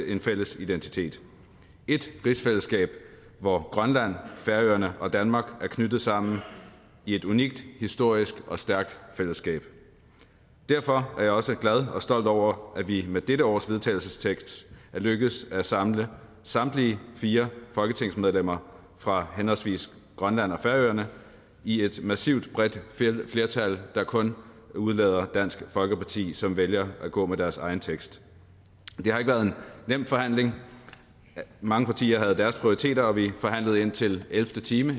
en fælles identitet ét rigsfællesskab hvor grønland færøerne og danmark er knyttet sammen i et unikt historisk og stærkt fællesskab derfor er jeg også glad og stolt over at vi med dette års vedtagelsestekst er lykkedes med at samle samtlige fire folketingsmedlemmer fra henholdsvis grønland og færøerne i et massivt bredt flertal der kun udelader dansk folkeparti som vælger at gå med deres egen tekst det har ikke været en nem forhandling mange partier havde deres prioriteter og vi forhandlede indtil ellevte time